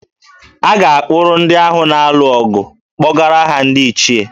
A ga-akpụrụ ndị ahụ na-alụ ọgụ kpọgara ha ndị ichié